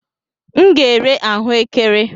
M ga-ere ahụekere.